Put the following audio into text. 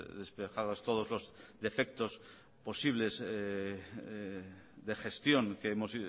despejados todos los defectos posibles de gestión que hemos